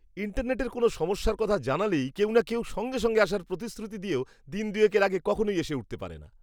ইন্টারনেটের কোনও সমস্যার কথা জানালেই কেউ না কেউ সঙ্গে সঙ্গে আসার প্রতিশ্রুতি দিয়েও দিন দুয়েকের আগে কখনোই এসে উঠতে পারে না।